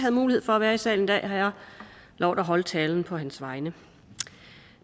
havde mulighed for at være i salen i dag har jeg lovet at holde talen på hans vegne